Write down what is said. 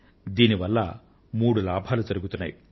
దీనివల్ల మూడు లాభాలు జరుగుతున్నాయి